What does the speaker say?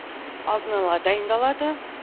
алдын ала дайындалады